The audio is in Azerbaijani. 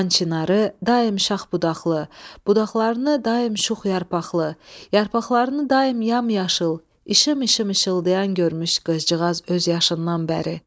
Xan Çinarı daim şax budaqlı, budaqlarını daim şux yarpaqlı, yarpaqlarını daim yamyaşıl, işım-işım işıldayan görmüş qızcığaz öz yaşından bəri.